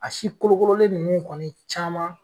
A si kolokololen ninnu kɔni caman